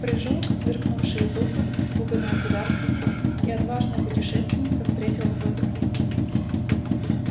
прыжок сверкнувшие зубы испуганное кудахтанье и отважная путешественница встретила свой конец